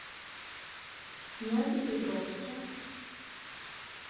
нязепетровске